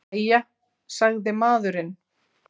Jæja, sagði maðurinn.